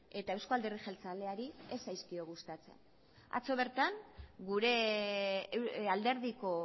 eta euzko alderdi jeltzaleari ez zaizkio gustatzen atzo bertan gure alderdiko